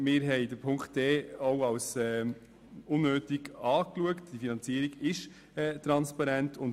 Buchstabe d haben wir als unnötig erachtet, weil die Finanzierung transparent ist.